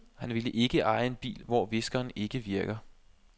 Han ville ikke eje en bil, hvor viskeren ikke virker.